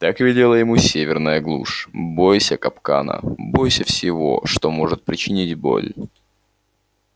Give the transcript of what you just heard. так велела ему северная глушь бойся капкана бойся всего что может причинить боль